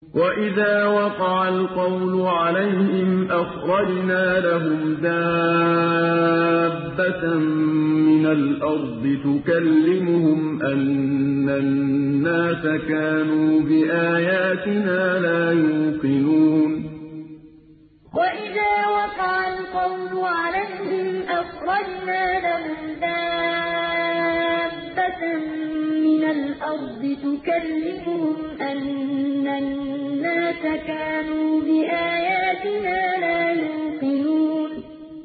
۞ وَإِذَا وَقَعَ الْقَوْلُ عَلَيْهِمْ أَخْرَجْنَا لَهُمْ دَابَّةً مِّنَ الْأَرْضِ تُكَلِّمُهُمْ أَنَّ النَّاسَ كَانُوا بِآيَاتِنَا لَا يُوقِنُونَ ۞ وَإِذَا وَقَعَ الْقَوْلُ عَلَيْهِمْ أَخْرَجْنَا لَهُمْ دَابَّةً مِّنَ الْأَرْضِ تُكَلِّمُهُمْ أَنَّ النَّاسَ كَانُوا بِآيَاتِنَا لَا يُوقِنُونَ